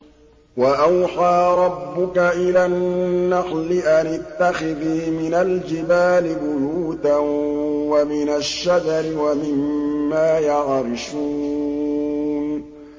وَأَوْحَىٰ رَبُّكَ إِلَى النَّحْلِ أَنِ اتَّخِذِي مِنَ الْجِبَالِ بُيُوتًا وَمِنَ الشَّجَرِ وَمِمَّا يَعْرِشُونَ